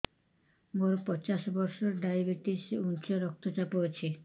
ମୋର ପଚାଶ ବର୍ଷ ଡାଏବେଟିସ ଉଚ୍ଚ ରକ୍ତ ଚାପ ଅଛି